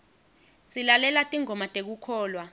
silalela tingoma tekukholwa